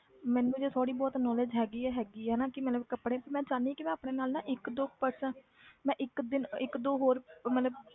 ਮੈਨੂੰ ਜੇ ਥੋੜ੍ਹੀ ਬਹੁਤ knowledge ਹੈਗੀ ਹੈ ਹੈਗੀ ਹੈ ਨਾ ਕਿ ਮਤਲਬ ਕੱਪੜੇ, ਮੈਂ ਚਾਹੁੰਦੀ ਹਾਂ ਕਿ ਮੈਂ ਆਪਣੇ ਨਾਲ ਨਾ ਇੱਕ ਦੋ person ਮੈਂ ਇੱਕ ਦਿਨ ਇੱਕ ਦੋ ਹੋਰ ਮਤਲਬ